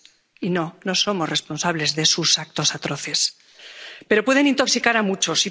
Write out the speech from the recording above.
Y no, no somos responsables de sus actos atroces, pero pueden intoxicar a muchos